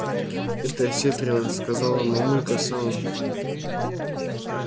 это осетрина сказала мамулька с самым